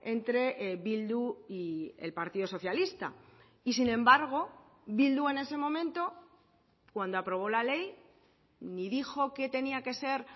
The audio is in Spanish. entre bildu y el partido socialista y sin embargo bildu en ese momento cuando aprobó la ley ni dijo que tenía que ser